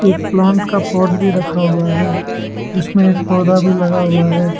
Plant का pot भी रखा हुआ है इसमें एक पौधा भी लगा हुआ है।